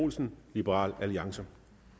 olsen liberal alliance